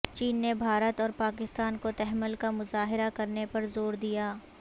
چین نے بھارت اور پاکستان کو تحمل کا مظاہرہ کرنے پر زور دیا